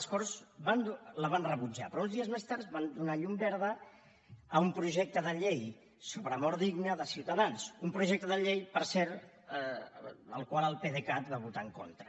les corts la van rebutjar però uns dies més tard van donar llum verda a un projecte de llei sobre mort digna de ciutadans un projecte de llei per cert del qual el pdecat va votar en contra